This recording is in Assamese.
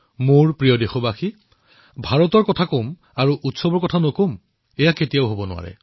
মোৰ মৰমৰ দেশবাসীসকল ভাৰতৰ কথা কলে উৎসৱৰ কথা কোৱা নাযাবনে এনেকুৱা হবই নোৱাৰে